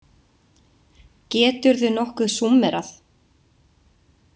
Geturðu nokkuð súmmerað?